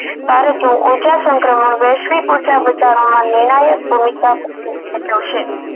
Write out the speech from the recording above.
ભારતનું ઓછા સંક્રમણ વૈશ્વિક ઉર્જા બચવામાં નિર્ણાયક ભૂમિકા ભજવે ભજવશે